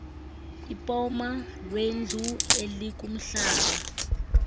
ipoma lendlu elikumhlaba